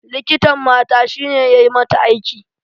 Likitan mata shine yayi mata aiki